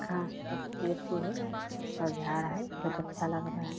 घास पत्ते अथि है और झाड़ है बहोत अच्छा लग रहा है ।